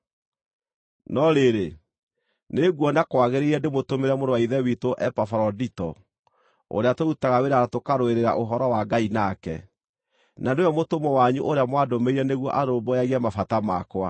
No rĩrĩ, nĩnguona kwagĩrĩire ndĩmũtũmĩre mũrũ wa Ithe witũ Epafarodito, ũrĩa tũrutaga wĩra na tũkarũĩrĩra ũhoro wa Ngai nake, na nĩwe mũtũmwo wanyu ũrĩa mwandũmĩire nĩguo arũmbũyagie mabata makwa.